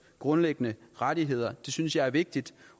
grundlæggende rettigheder det synes jeg er vigtigt